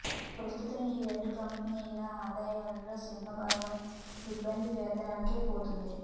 ప్రస్తుతం ఈ రెండు కంపెనీల ఆదాయంలో సింహభాగం సిబ్బంది వేతనాలకే పోతోంది